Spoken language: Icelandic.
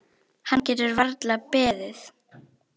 Hann getur varla beðið.